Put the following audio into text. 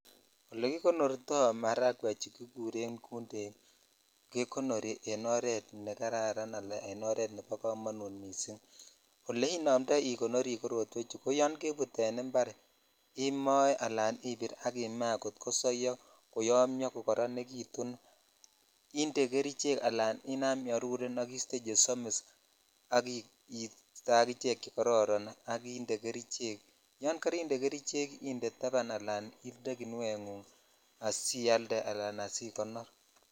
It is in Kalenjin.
Ole kikonortoi marakwechu kikuren gundek kekonori en oret ne kararan ala en oret nebo komonut missing ole inomdoi ikonori korotwechu ko yon kebut impar imoe ala impir ak imaa kosoyo koyomio kokoronitun inde gerichek ak inam iaruren ak istee chesomis ak iste akine chekoron ak inde kerichek yan karinde kerichek indee taban kinungok ala asikonor.